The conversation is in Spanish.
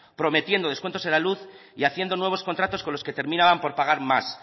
prometiendo descuentos en la luz y haciendo nuevos contratos con los que terminaban por pagar más